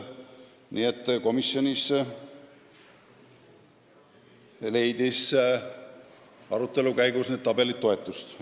Nii et komisjonis leidsid pärast arutelu need tabelid toetust.